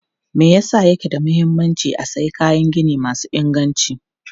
Me yasa yake da mahimmanci a sayi kayan gini masu inganci?